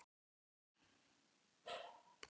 Lá þarna í rúminu, svo lítill, svo varnarlaus, svaf.